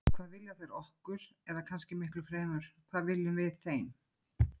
Hvað vilja þær okkur, eða kannski miklu fremur: hvað viljum við þeim?